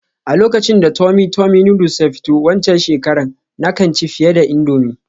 A lokacin da tummy tummy noodles ya fito waccan shekarar, na kan ci fiye da indomie